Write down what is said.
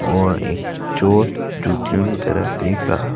और एक चोर जूतियों की तरफ देख रहा--